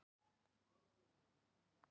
Æfa, æfa, æfa